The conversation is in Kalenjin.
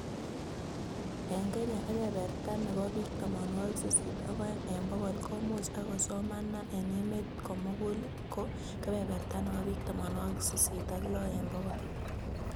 Eng Kenya ebeberta nebo biik tamanwokik sisit ak oeng eng bokol komuchi ak kosoman na eng emet komugul ko kebeberta nebo biik tamanwokik sisit ak lo eng bokol